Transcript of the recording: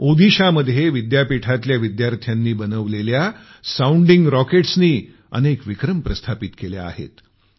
ओदिशामध्ये विद्यापीठातल्या विद्यार्थ्यांनी बनवलेले साऊंडिंग रॉकेट्सनी अनेक विक्रम प्रस्थापित केले आहेत